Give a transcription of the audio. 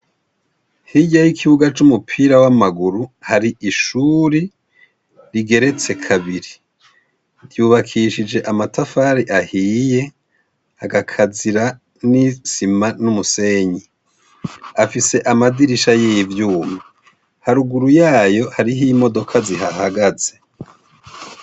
Hirya y'ikibuga c'umupira w'amaboko, hari ishuri rigeretse kabiri. Cubakishije amatafari ahiye, agakazira n'isima n'umusenyi. Afise amadirisha y'ivyuma. Haruguru yayo hariho imodoka zihahagaze.